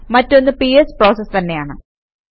മറ്റൊന്ന് PS process തന്നെയാണ്